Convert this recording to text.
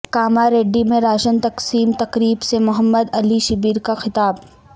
کاماریڈی میں راشن تقسیم تقریب سے محمد علی شبیر کا خطاب